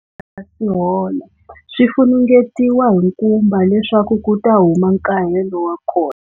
Swi nga si hola, swi funengetiwa hi nkumba leswaku ku ta huma nkahelo wa kona.